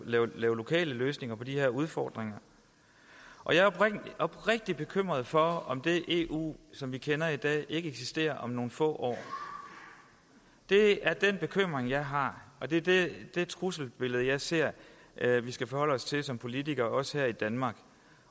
lokale løsninger på de her udfordringer og jeg er oprigtig bekymret for om det eu som vi kender i dag ikke eksisterer om nogle få år det er den bekymring jeg har og det er det trusselsbillede jeg ser at vi skal forholde os til som politikere også her i danmark